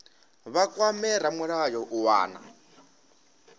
vha kwame ramulayo u wana